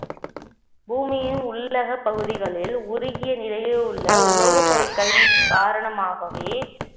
பூமியின் உள்ளக பகுதிகளில் உருகிய நிலையில் உள்ள உலோகப் பொருட்களின் காரணமாகவே